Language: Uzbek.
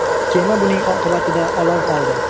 Kema buning oqibatida olov oldi.